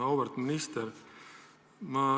Auväärt minister!